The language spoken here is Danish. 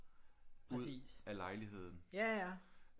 Ud af lejligheden